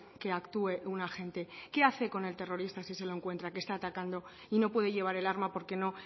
que actúe un agente qué hace con el terrorista si se lo encuentra que está atacando y no puede llevar el arma porque no